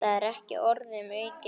Það er ekki orðum aukið.